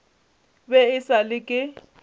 be e sa le ke